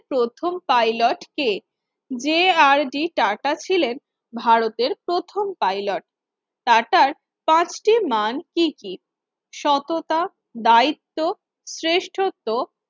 প্রথম pilot কে J R D টাটাস ছিলেন ভারতে প্রথম pilot টাটার পাঁচটি মান কি কি সততা দায়িত্ব শ্রেষ্ঠত্ব